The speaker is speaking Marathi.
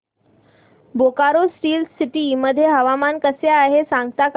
बोकारो स्टील सिटी मध्ये हवामान कसे आहे सांगता का